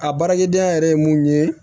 A baarakɛdenya yɛrɛ ye mun ye